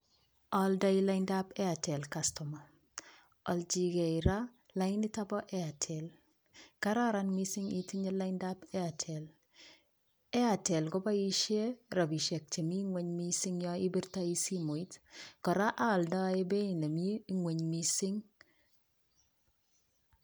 Oldoi lainitab Airtel kastoma, olchin kee raa lainit niton boo Airtel, kararan mising itinye laindab Airtel, Airtel koboishe en rabishek chemii ngweny mising yoon ibirtoi simoit, koraa oldoi en beiit nemii ngweny mising.